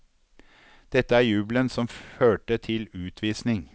Dette er jubelen som førte til utvisning.